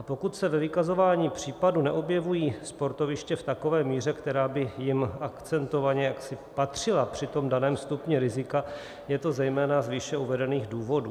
A pokud se ve vykazování případů neobjevují sportoviště v takové míře, která by jim akcentovaně jaksi patřila při tom daném stupni rizika, je to zejména z výše uvedených důvodů.